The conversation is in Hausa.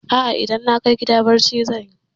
A'a, idan na kai gida barci zan yi.